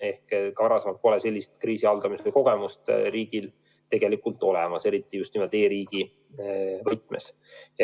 Ehk siis sellise kriisi haldamise kogemust riigil tegelikult pole, eriti just nimelt e-riigi võtmes.